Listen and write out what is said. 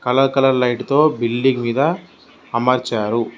Colour colour light తో building మీద అమర్చారు.